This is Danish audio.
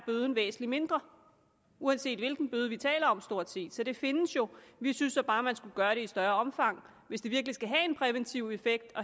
væsentlig mindre uanset hvilken bøde vi taler om stort set så det findes jo vi synes da bare man skulle gøre det i et større omfang hvis det virkelig skal have en præventiv effekt at